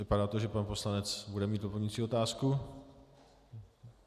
Vypadá to, že pan poslanec bude mít doplňující otázku.